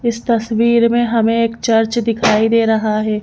इस तस्वीर में हमें एक चर्च दिखाई दे रहा है।